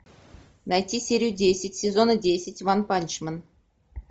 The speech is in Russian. найти серию десять сезона десять ванпанчмен